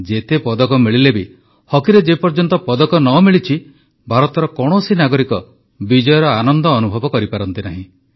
ଯେତେ ପଦକ ମିଳିଲେ ବି ହକିରେ ଯେପର୍ଯ୍ୟନ୍ତ ପଦକ ନ ମିଳିଛି ଭାରତର କୌଣସି ନାଗରିକ ବିଜୟର ଆନନ୍ଦ ଅନୁଭବ କରିପାରନ୍ତି ନାହିଁ